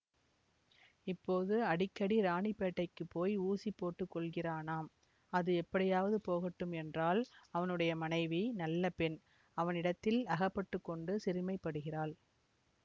இப்போது அடிக்கடி ராணிப்பேட்டைக்குப் போய் ஊசி போட்டுக்கொள்கிறானாம் அது எப்படியாவது போகட்டும் என்றால் அவனுடைய மனைவி நல்ல பெண் அவனிடத்தில் அகப்பட்டு கொண்டு சிறுமைப்படுகிறாள்